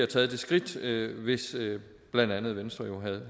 taget det skridt hvis blandt andet venstre